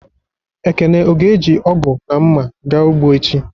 Ekene ọ ga-eji ọgu na mma, ga ụgbọ echi?